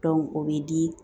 o bɛ di